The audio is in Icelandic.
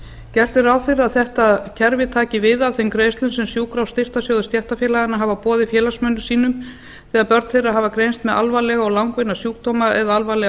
gert er ráð fyrir að þetta kerfi taki við að þeim greiðslum sem sjúkra og styrktarsjóður stéttarfélaganna hafa boðið félagsmönnum sínum þegar börn þeirra hafa greinst með alvarlega og langvinna sjúkdóma eða alvarlegar